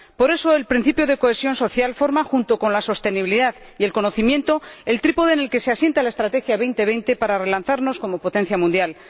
Por eso, el principio de cohesión social forma, junto con la sostenibilidad y el conocimiento, el trípode en el que se asienta la Estrategia 2020 para relanzarnos como potencia mundial.